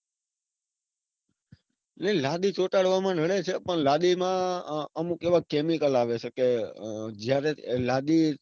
નઈ લાદી ચોંટાડવામાં નડે છે. પણ લાદી માં અમુક એવા chemical આવે છે કે જયારે